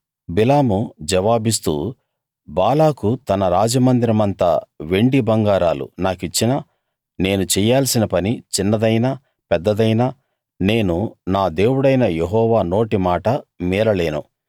బిలాము జవాబిస్తూ బాలాకు తన రాజమందిరమంత వెండి బంగారాలు నాకిచ్చినా నేను చెయ్యాల్సిన పని చిన్నదైనా పెద్దదైనా నేను నా దేవుడైన యెహోవా నోటి మాట మీరలేను